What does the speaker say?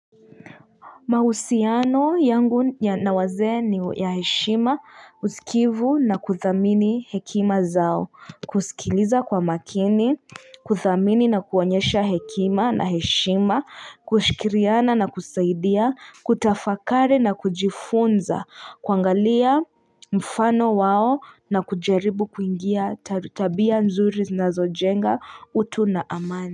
Mahusiano yangu na wazee ni ya heshima usikivu na kuthamini hekima zao, kusikiliza kwa makini, kuthamini na kuonyesha hekima na heshima, kushirikiana na kusaidia, kutafakari na kujifunza, kuangalia mfano wao na kujaribu kuingia, tabia nzuri zinazojenga, utu na amani.